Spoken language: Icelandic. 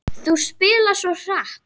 Þú spilar svo hratt.